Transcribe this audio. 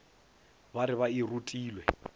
ba re ba e rutilwe